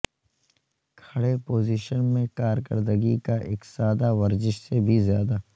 کھڑے پوزیشن میں کارکردگی کا ایک سادہ ورزش سے بھی زیادہ